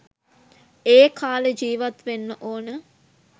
ඒ කාලේ ජීවත් වෙන්න ඕන.